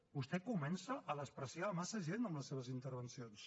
vostè comença a menysprear massa gent en les seves intervencions